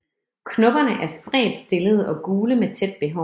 Knopperne er spredt stillede og gule med tæt behåring